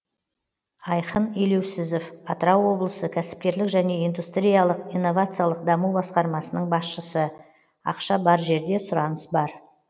айхын елеусізов атырау облысы кәсіпкерлік және индустриялық инновациялық даму басқармасының басшысы ақша бар жерде сұраныс бар